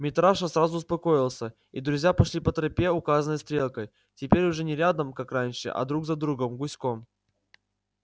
митраша сразу успокоился и друзья пошли по тропе указанной стрелкой теперь уже не рядом как раньше а друг за другом гуськом